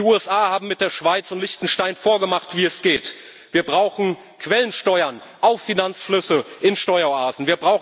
EU? Die USA haben mit der Schweiz und Liechtenstein vorgemacht, wie es geht Wir brauchen Quellensteuern auf Finanzflüsse in Steueroasen.